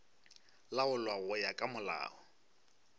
laolwa go ya ka molao